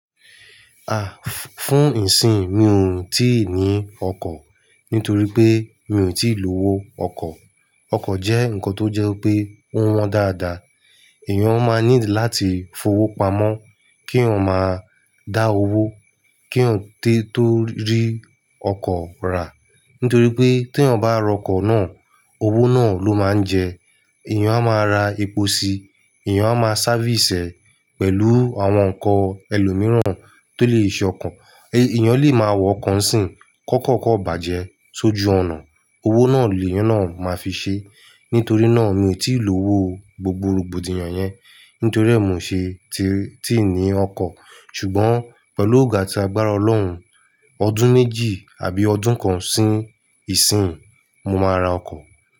Fún ìsìn mi ò tíì ní ọkọ̀ nítorí pé mi ò tíì lówó ọkọ̀. Ọkọ̀ jẹ́ nǹkan tó jẹ́ pé ó wọ́n dáadáa, èèyàn máa ń ní láti fowó pamọ́ kí ó má dá owó, kí ó tó rí ọkọ̀ rà. Nítorí pé tí èèyàn bá ra ọkọ̀ náà, owó náà ló máa ń jẹ, èèyàn a máa ra epo síi, èèyàn a máa sávìsì ẹ pẹ̀lú àwọn nǹkan ẹlòmíràn tó lè ṣe ọkọ̀. Èèyàn lè máa wọ ọkọ̀ ńsìn kọ́kọ́kọ́ bàjẹ́ sójú ọ̀nà, owó náà èèyàn náà máa fi ṣe. Nítorí náà mi ò tí ì lọ́wó gbogbo rògbòdìyàn yẹn, nítorí è ni mó ò ṣe tíì ní ọkọ̀. Ṣùgbọ́n pẹ̀lú ògó ati agbára Ọlọ́run, ọdún méjì àbí ọdún kan sí ìsìn mo máa ra ọkọ̀.